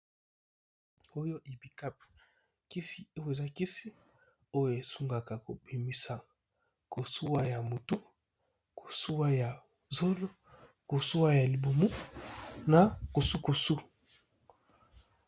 Oyo ibikapu kisi oyo eza kisi oyo esungaka kobimisa kosuwa ya motu, kosuwa ya zolo, kosuwa ya libumu, na kosu kosu.